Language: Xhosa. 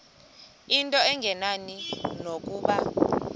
into engenani nokuba